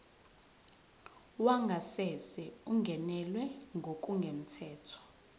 wangasese ungenelwe ngokungemthetho